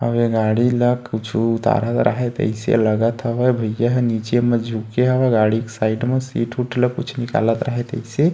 अउ ए गाड़ी ल कुछु उतारत राहय तइसे लगत हवय भइया ह नीचे म झुके हवय गाड़ी के साइड में सीट वुट ला कुछ निकालत राहय तइसे --